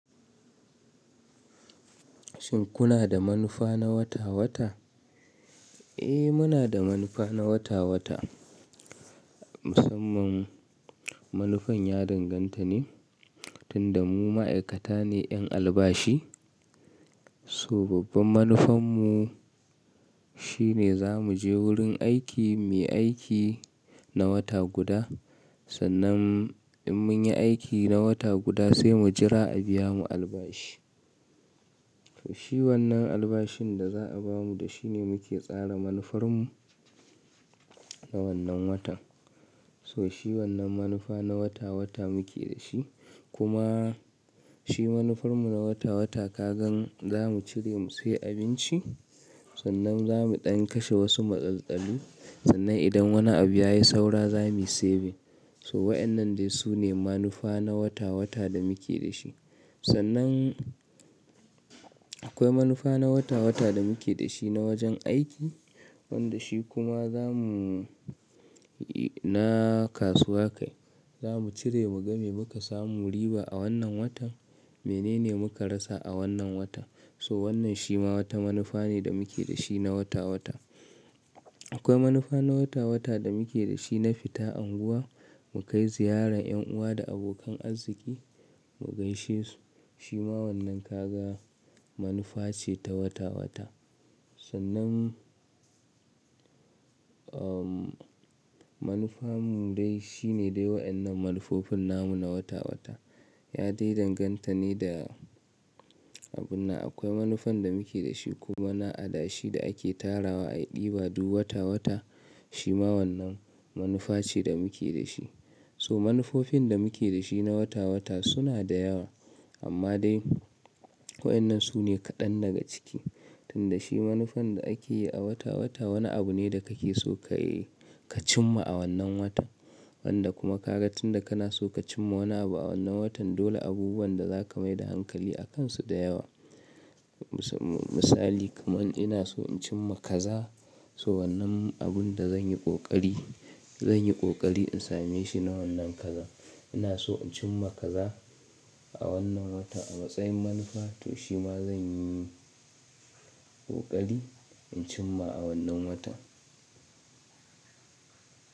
Shin kuna da manufa na wata-wata? Eh, muna da manufa na wata-wata. Musamman manufan ya danganta ne, tunda mu ma'aikata ne 'yan albashi. So babban manufan mu shine za mu je wurin aiki, mu yi aiki na wata guda. Sannan in mun yi aiki na wata guda sai mu jira a biya mu albashi. So shi wannan albashin da za a ba mu da shi ne muke tsara manufar mu na wannan watan. So shi wannan manufa na wata-wata muke da shi. Kuma shi manufar mu na wata-wata ka gan za mu cire mu sayi abinci. Sannan za mu ɗan kashe wasu matsaltsali. Sannan idan wani abu ya yi saura za mu yi saving. So waɗannan dai su ne manufa na wata-wata da muke da shi. Sannan akwai manufa na wata-wata da muke da shi na wajen aiki. Wanda shi kuma za mu na kasuwa kai. Za mu cire mu ga me muka samu riba a wannan watan. Mene ne muka rasa a wannan watan. So wannan shi ma wata manufa ne da muke da shi na wata-wata. Akwai manufa na wata-wata da muke da shi na fita unguwa, mu kai ziyaran yan uwa da abokan arziki, mu gaishe su. Shi ma wannan ka ga manufa ce ta wata-wata. Sannan, umm, manufar mu dai shi ne dai waɗannan manufofin namu na wata-wata. Ya dai danganta ne da abun nan. Akwai manufan da muke da shi kuma na adashi da ake tarawa a ɗiba duk wata-wata. Shi ma wannan manufa ce da muke da shi. So manufofin da muke da shi na wata-wata suna da yawa. Amma dai waɗannan su ne kaɗan daga ciki. Tunda shi manufan da ake yi a wata-wata wani abu ne da kake so ka yi, ka cimma a wannan watan. Wanda kuma ka ga tunda kana so ka cimma wani abu a wannan watan dole abubuwan da za ka mai da hankali a kansu da yawa. Mus-misali kamar ina so in cimma kaza. So wannan abun da zan yi ƙoƙari, zan yi ƙoƙari in same shi na wannan kaza. Ina so in cimma kaza a wannan watan a matsayin manufa. To shi ma zan yi ƙoƙari in cimma a wannan watan.